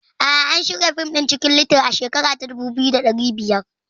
A'a, an shirya fim ɗin Cikin little a shekara ta dubu biyu da biyar